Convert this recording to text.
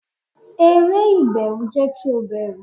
eré iberu jẹ ki o bẹru